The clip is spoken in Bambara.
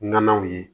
Nɔnɔw ye